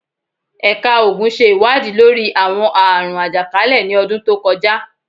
Ẹka Oogun ṣe iwadii lori awọn aarun ajakalẹ ni ọdun to kọja